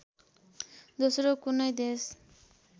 दोस्रो कुनै देश